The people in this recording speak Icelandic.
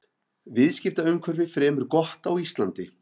Viðskiptaumhverfi fremur gott á Íslandi